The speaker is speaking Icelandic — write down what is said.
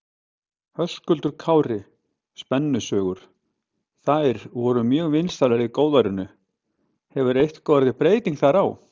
Höskuldur Kári: Spennusögur, þær voru mjög vinsælar í góðærinu, hefur eitthvað orðið breyting þar á?